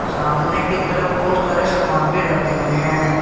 सामने की तरफ बहोत सारे सामान भी रखे हुए हैं।